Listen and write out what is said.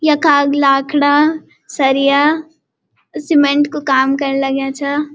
यखा ग लाखड़ा सरिया सिमेंट कु काम कन लग्या छा।